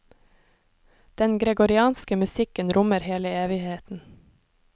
Den gregorianske musikken rommer hele evigheten.